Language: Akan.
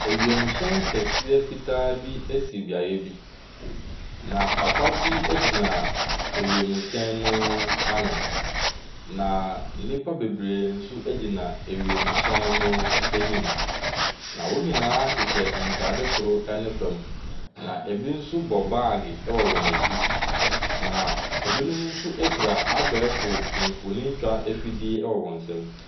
Awiemuhyɛn kɛseɛ fitaa bi esi beaeɛ bi. Na papa bi egyina awiemmuhyɛn no ano. Na nnipa bebree nso gyina wiemuhyɛn no anim. Na wɔn nyinaa hyehyɛ ntaade soro ne fam. Na ebi nso bɔ bag ɛwɔ wɔn akyi. Na ebinom nso kura abɛɛfo nfonni twa afidie ɛwɔ wɔn nsam.